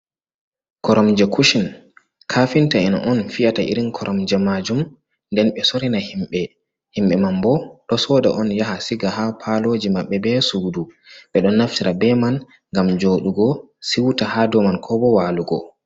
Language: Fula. Koramje kushin: Kafinta'en on fiyata irin koromja majum nden ɓe sorina himɓe. Himɓe man bo ɗo soda on yaha siga ha paloji maɓɓe be sudu. Ɓe ɗon naftira be man ngam joɗugo siwta ha dow man ko bo walugo.